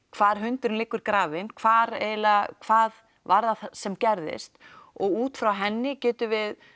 hvar hundurinn liggur grafinn hvað hvað var það sem gerðist og útfrá henni getum við